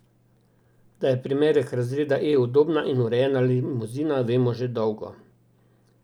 Da je primerek razreda E udobna in urejena limuzina, vemo že dolgo.